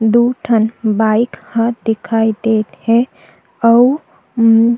दो ठन बाइक दिखाई दत हे अऊ--